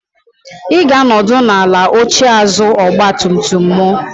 Ị ga-anọdụ ala n'oche azụ ọgba tum tum mụ.